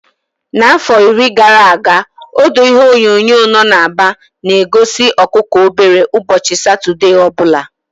Afọ iri gara aga, odo ihe onyonyo nno na Aba na-egosi ọkụkọ obere ụbọchị Satọde ọ bụla.